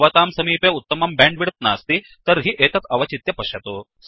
यदि भवतां समीपे उत्तमं बैण्डविड्थ नास्ति तर्हि एतत् अवचित्य पश्यतु